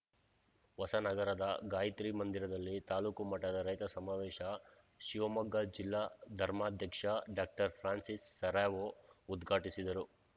ಹೊಸನಗರದ ಗಾಯತ್ರಿ ಮಂದಿರದಲ್ಲಿ ತಾಲೂಕು ಮಟ್ಟದ ರೈತ ಸಮಾವೇಶ ಶಿವಮೊಗ್ಗ ಜಿಲ್ಲಾ ಧರ್ಮಾಧ್ಯಕ್ಷ ಡಾಕ್ಟರ್ ಫ್ರಾನ್ಸಿಸ್‌ ಸೆರಾವೊ ಉದ್ಘಾಟಿಸಿದರು